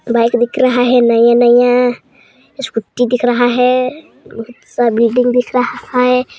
Bike दिख रहा है नया -नया स्कूटी दिख रहा है स-बिल्डिंग दिख रहा है।